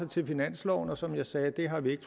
til finansloven og som jeg sagde det har vi ikke